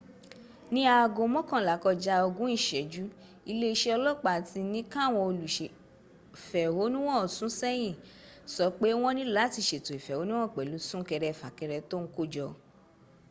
ní aago mọ́kànlá kọjá ogún ìsẹ́jù iléeṣẹ́ ọlọ́ọ̀pá tí ní káwọn olùsèfẹ̀hónúhàn sún sẹ́yìn sọ pé wọ́n nílò láti sètò ìfẹ̀hónúhàn pẹ̀lú súnkẹrẹ fàkẹrẹ tó ń kó jọ